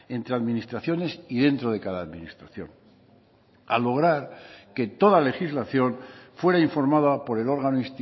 entre administraciones y dentro de cada administración al lograr que toda legislación fuera informada por el órgano